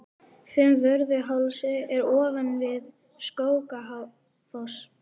Fimmvörðuháls er ofan við Skógafoss.